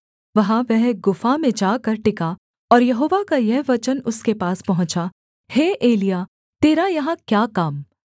वहाँ वह एक गुफा में जाकर टिका और यहोवा का यह वचन उसके पास पहुँचा हे एलिय्याह तेरा यहाँ क्या काम